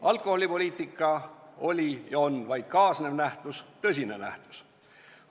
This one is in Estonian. Alkoholipoliitika oli ja on vaid kaasnev nähtus, küll tõsine nähtus.